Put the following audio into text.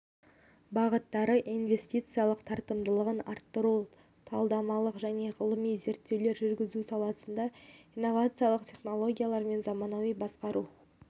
бағыттары инвестициялық тартымдылығын арттыру талдамалық және ғылыми зерттеулер жүргізу саласында инновациялық технологиялар мен заманауи басқару